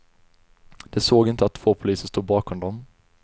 De såg inte att två poliser stod bakom dem.